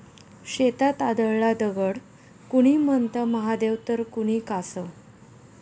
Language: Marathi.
शेतात आढळला दगड, कुणी म्हणतं महादेव तर कुणी कासव!